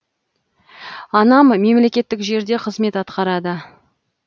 анам мемлекеттік жерде қызмет атқарады